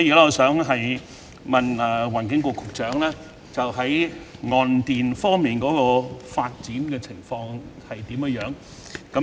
我想問環境局局長，岸電發展的情況如何？